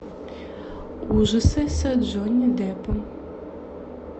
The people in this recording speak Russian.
ужасы с джонни деппом